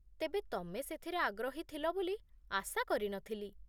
ତେବେ, ତମେ ସେଥିରେ ଆଗ୍ରହୀ ଥିଲ ବୋଲି ଆଶା କରିନଥିଲି